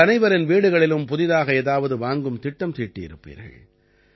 உங்கள் அனைவரின் வீடுகளிலும் புதிதாக ஏதாவது வாங்கும் திட்டம் தீட்டியிருப்பீர்கள்